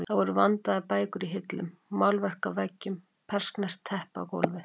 Það voru vandaðar bækur í hillum, málverk á veggjum, persneskt teppi á gólfi.